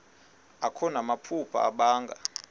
akho namaphupha abanga